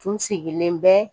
Tun sigilen bɛ